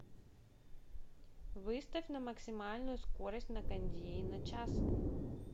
выставь на максимальную скорость на кондее на час